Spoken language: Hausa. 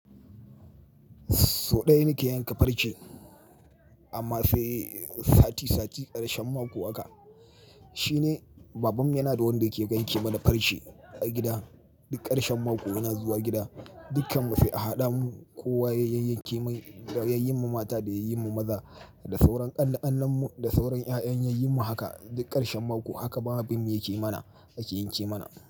Sau ɗaya nake yanka farce, amma sai sati sati ƙarshen mako haka. Shine babanmu yana da wanda yake yanke mana farce a gida. Duk ƙarshen mako yana zuwa gida, dukkan mu sai a haɗa mu, ko waye yayyen yake mai, da yayyen mu mata da yayyen mu maza, da sauran ƙan-ƙannan mu, da sauran ƴaƴan yayyen mu haka duk ƙarshen mako haka baban yake mana, yake yanke mana.